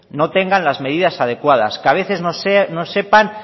no tengan las medidas adecuadas que a veces no sepan